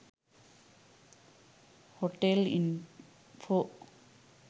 hotel info